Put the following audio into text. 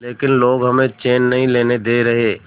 लेकिन लोग हमें चैन नहीं लेने दे रहे